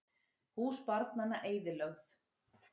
Hús barnanna eyðilögð